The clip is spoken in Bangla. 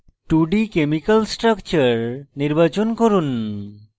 2d chemical structure নির্বাচন করুন